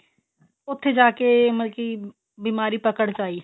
ਉੱਥੇ ਜਾਕੇ ਮਤਲਬ ਕੀ ਬੀਮਾਰੀ ਪਕੜ ਚ ਆਈ